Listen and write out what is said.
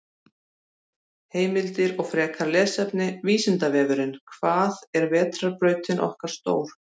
Heimildir og frekara lesefni: Vísindavefurinn: Hvað er vetrarbrautin okkar stór?